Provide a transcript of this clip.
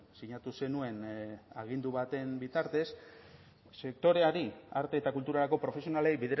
sinatu zenuen agindu baten bitartez sektoreari arte eta kulturako profesionalei